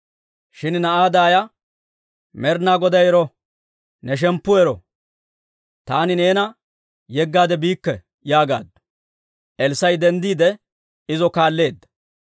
Shin na'aa daaya, «Med'ina Goday ero! Ne shemppu ero! Taani neena yeggaade biikke» yaagaaddu. Elssaa'i denddiide, izo kaalleedda.